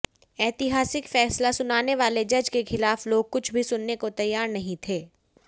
ऐतिहासिक फैसला सुनाने वाले जज के खिलाफ लोग कुछ भी सुनने को तैयार नहीं थे